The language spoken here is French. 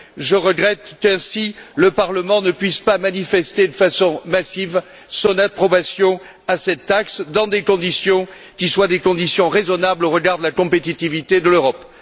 Je regrette qu'ainsi le Parlement ne puisse pas manifester de façon massive son approbation à cette taxe dans des conditions qui soient des conditions raisonnables au regard de la compétitivité de l'Europe.